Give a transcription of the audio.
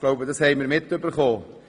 Das haben wohl alle mitbekommen.